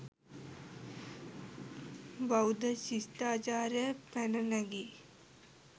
බෞද්ධ ශිෂ්ටාචාරයක් පැන නැගී